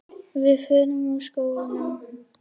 Við förum úr skónum.